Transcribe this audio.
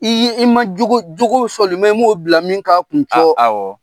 I ye ,i ma jogo jogo i m'o bila min k'a kun cɔ. A awɔ.